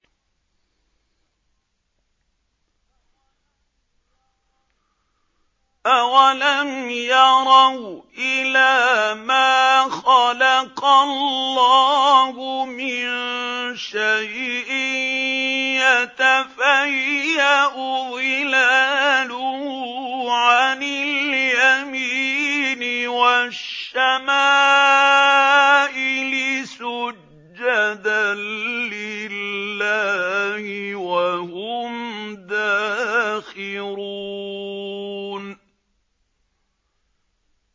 أَوَلَمْ يَرَوْا إِلَىٰ مَا خَلَقَ اللَّهُ مِن شَيْءٍ يَتَفَيَّأُ ظِلَالُهُ عَنِ الْيَمِينِ وَالشَّمَائِلِ سُجَّدًا لِّلَّهِ وَهُمْ دَاخِرُونَ